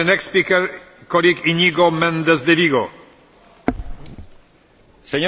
Señor Presidente de la Comisión, hoy era un día importante y éste era un discurso importante.